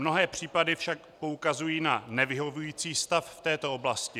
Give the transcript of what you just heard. Mnohé případy však poukazují na nevyhovující stav v této oblasti.